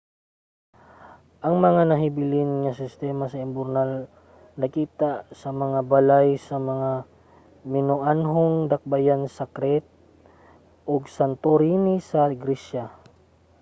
ang mga nahabilin nga sistema sa imburnal nakita sa mga balay sa mga minoanhong dakbayan sa crete ug santorini sa gresya